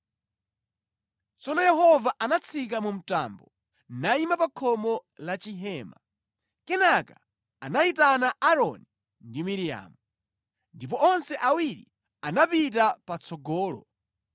Tsono Yehova anatsika mu mtambo, nayima pa khomo la chihema. Kenaka anayitana Aaroni ndi Miriamu. Ndipo onse awiri atapita patsogolo,